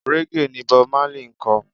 Raggae ni Bob Marley ń kọ.